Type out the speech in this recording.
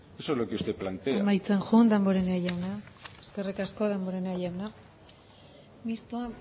eso es lo que usted plantea eskerrik asko damborenea jauna mistoa